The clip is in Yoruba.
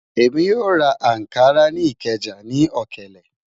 Ẹmi yó rá Ànkárà ni Ìkéja ní òkèlè